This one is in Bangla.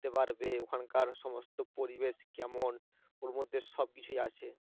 উঠতে পারবে ওখানকার সমস্ত পরিবেশ কেমন ওর মধ্যে সবকিছুই আছে